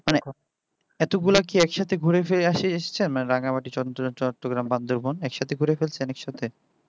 এতগুলা কি একসাথে ঘুরে ফিরে আসে এসছেন না রাঙামাটি চট্টগ্রাম বান্দরবান একসাথে ঘুরে ফেলছেন একসাথে